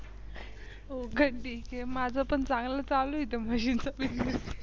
हो का ठीक आहे. माझं पण चांगलं चालू आहे इथ म्हशीचं Business